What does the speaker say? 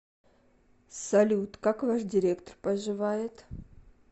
салют как ваш директор поживает